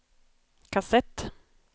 kassett